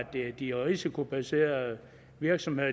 de risikobaserede virksomheder